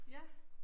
Ja